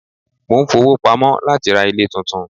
Mo ń fowó pamọ́ láti ra ilé tuntun.